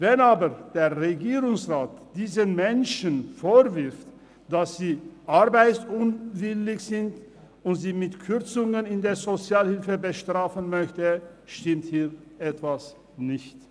Wenn aber der Regierungsrat diesen Menschen vorwirft, dass sie arbeitsunwillig sind und sie mit Kürzungen in der Sozialhilfe bestrafen möchte, stimmt hier etwas nicht.